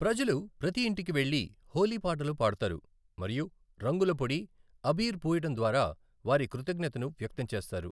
ప్రజలు ప్రతి ఇంటికి వెళ్లి హోలీ పాటలు పాడతారు మరియు రంగుల పొడి, అబీర్ పూయడం ద్వారా వారి కృతజ్ఞతను వ్యక్తం చేస్తారు.